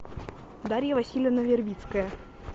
дарья васильевна вербицкая